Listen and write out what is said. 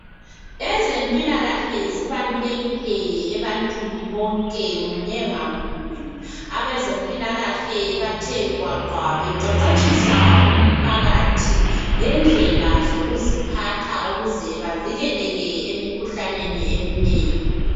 Ezempilakahle zibalulekile ebantwini bonke munye ngamunye abezempilakahle bathe gwaqa beqeqetshisa umphakathi ngendlela yokuziphatha ukuze bavikeleke emikhuhlaneni eminengi.